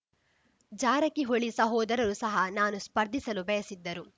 ಜಾರಕಿಹೊಳಿ ಸಹೋದರರು ಸಹ ನಾನು ಸ್ಪರ್ಧಿಸಲು ಬಯಸಿದ್ದರು